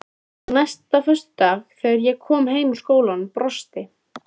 Og næsta föstudag þegar ég kom heim úr skólanum brosti